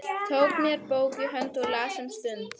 Tók mér bók í hönd og las um stund.